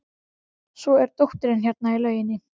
Svo er dóttirin hérna í lauginni.